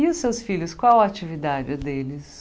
E os seus filhos, qual a atividade deles?